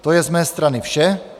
To je z mé strany vše.